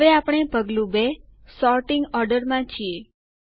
હવે આપણે પગલું ૨ સોર્ટિંગ ઓર્ડર માં છીએ